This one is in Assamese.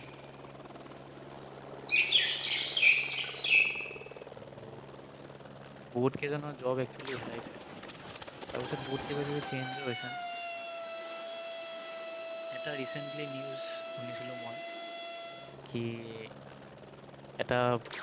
আৰু বহুত কেইজনৰ job actually হেৰাইছে তাৰ পাছত বহুত কিবা কিবি change ও হৈছে এটা recently news শুনিছিলো মই কি এটা